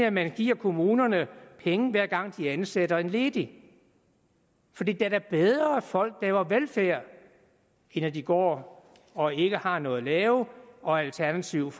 at man giver kommunerne penge hver gang de ansætter en ledig for det er da bedre at folk laver velfærd end at de går og ikke har noget at lave og alternativt